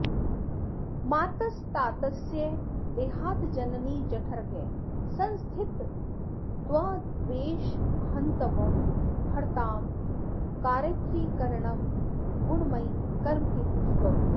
मातस्तातस्य देहाज्जननि जठरगः संस्थितस्त्वद्वशेहन्त्वं हर्त्रां कारयित्री करणगुणमयी कर्महेतुस्वरूपा